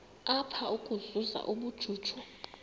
apha ukuzuza ubujuju